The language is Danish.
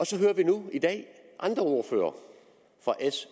så hører vi nu i dag andre ordførere fra s